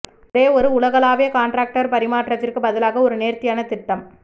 ஒரே ஒரு உலகளாவிய கான்ட்ராக்டர் பரிமாற்றத்திற்கு பதிலாக ஒரு நேர்த்தியான திட்டம்